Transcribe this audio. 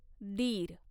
दीर